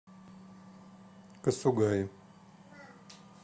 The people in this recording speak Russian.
касугаи